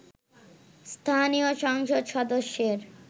স্থানীয় সংসদ সদস্যের